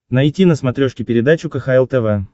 найти на смотрешке передачу кхл тв